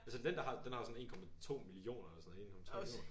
Altså den der har den har sådan 1,2 millioner eller sådan noget 1,3 millioner